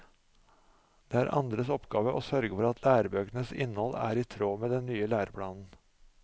Det er andres oppgave å sørge for at lærebøkenes innhold er i tråd med den nye læreplanen.